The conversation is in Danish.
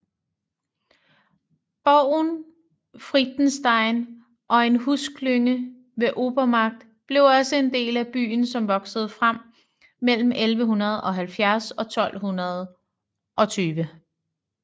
Borgen Friedenstein og en husklynge ved Obermarkt blev også en del af byen som voksede frem mellem 1170 og 1220